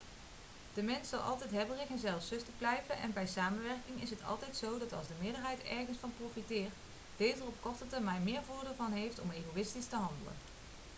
de mens zal altijd hebberig en zelfzuchtig blijven en bij samenwerking is het altijd zo dat als de meerderheid ergens van profiteert deze er op de korte termijn meer voordeel van heeft om egoïstisch te handelen